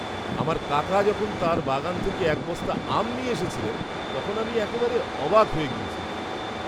আমার কাকা যখন তাঁর বাগান থেকে এক বস্তা আম নিয়ে এসেছিলেন, তখন আমি একেবারে অবাক হয়ে গিয়েছিলাম।